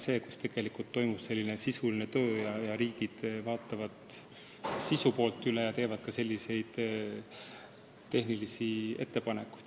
Sellel tasemel riigid analüüsivad sisu poolt ja teevad tehnilisi ettepanekuid.